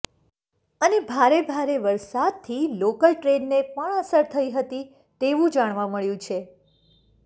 અને ભારે ભારે વરસાદથી લોકલ ટ્રેનને પણ અસર થઈ હતી તેવું જાણવા મળ્યું છે